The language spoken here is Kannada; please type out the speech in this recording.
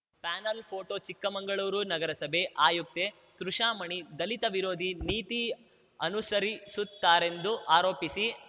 ಪ್ಯಾನಲ್‌ ಪೋಟೋ ಚಿಕ್ಕಮಂಗಳೂರು ನಗರಸಭೆ ಆಯುಕ್ತೆ ತೃಷಾಮಣಿ ದಲಿತ ವಿರೋಧಿ ನೀತಿ ಅನುಸರಿಸುತ್ತಾರೆಂದು ಆರೋಪಿಸಿ